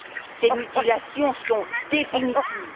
Ces mutilations sont définitives.